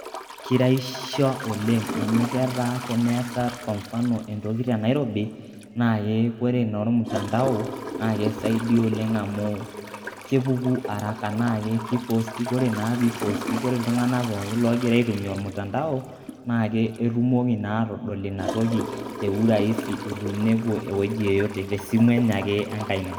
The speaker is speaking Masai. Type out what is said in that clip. Keiraisisho oleng' amu ketaa tene asaarr kwa mfano entoki te nairobi naaku eeh ore noo mutandao naa aisaidi oleng amu kepukuu araka. Naa keipostii ore naa pee eipostii ore itung'anak pooki loigiraa aitumia mutandao naa eitumooki naa atodool enia ntokii te urahiisi etewueni epoo wueji yeyoote te e simu enye ake e nkaiina.